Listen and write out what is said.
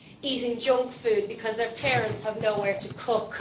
eating junk food because their parents have nowhere to cook.